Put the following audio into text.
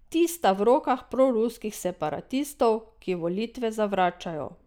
Ti sta v rokah proruskih separatistov, ki volitve zavračajo.